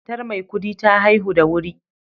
Matar Maikudi ta haihu da wuri